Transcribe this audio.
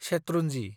शेत्रुनजि